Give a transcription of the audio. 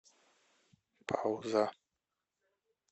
пауза